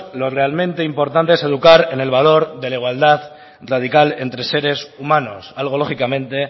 lo realmente importante es educar en el valor de la igualdad radical entre seres humanos algo lógicamente